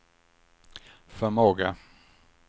förmåga